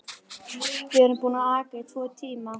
Við erum búin að aka í tvo tíma.